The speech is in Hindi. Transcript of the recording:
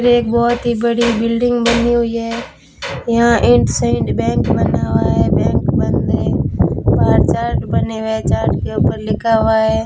एक बहोत ही बड़ी बिल्डिंग बनी हुई है यहां इंडसिंड बैंक बना हुआ है बैंक बंद है बाहर चार्ट बने हुए चार्ट के ऊपर लिखा हुआ है।